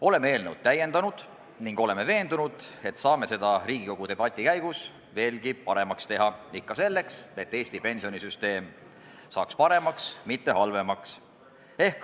Oleme eelnõu täiendanud ning veendunud, et saame seda Riigikogu debati käigus veelgi paremaks teha – ikka selleks, et Eesti pensionisüsteem saaks paremaks, mitte halvemaks.